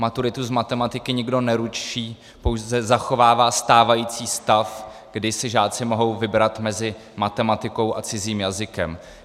Maturitu z matematiky nikdo neruší, pouze zachovává stávající stav, kdy si žáci mohou vybrat mezi matematikou a cizím jazykem.